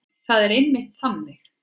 Það er einmitt þannig.